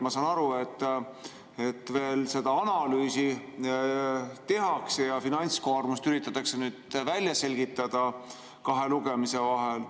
Ma saan aru, et seda analüüsi veel tehakse ja finantskoormust üritatakse välja selgitada kahe lugemise vahel.